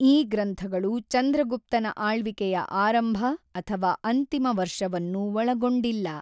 ಈ ಗ್ರಂಥಗಳು ಚಂದ್ರಗುಪ್ತನ ಆಳ್ವಿಕೆಯ ಆರಂಭ ಅಥವಾ ಅಂತಿಮ ವರ್ಷವನ್ನು ಒಳಗೊಂಡಿಲ್ಲ.